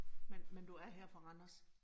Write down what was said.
Men men du er her fra Randers